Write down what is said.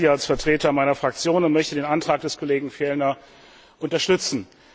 Ich spreche jetzt hier als Vertreter meiner Fraktion und möchte den Antrag des Kollegen Fjellner unterstützen.